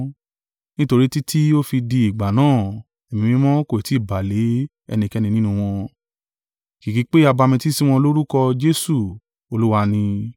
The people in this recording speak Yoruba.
nítorí títí ó fi di ìgbà náà Ẹ̀mí Mímọ́ kò tí ì bà lé ẹnikẹ́ni nínú wọn; kìkì pè a bamitiisi wọn lórúkọ Jesu Olúwa ni.